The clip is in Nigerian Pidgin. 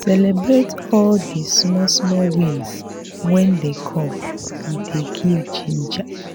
celebrate all di small small wins when dem come e dey give ginger